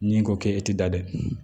Ni ko ke e ti da dɛ